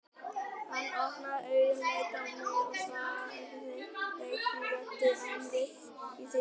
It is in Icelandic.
Hann opnaði augun, leit á mig og sagði veikri röddu en viss í sinni sök